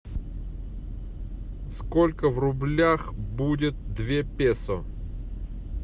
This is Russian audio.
сколько в рублях будет две песо